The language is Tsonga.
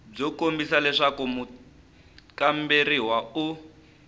byo kombisa leswaku mukamberiwa u